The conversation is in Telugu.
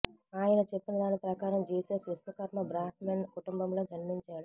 ఆయన చెప్పిన దాని ప్రకారం జీసస్ విశ్వకర్మ బ్రాహ్మిణ్ కుటుంబంలో జన్మించాడు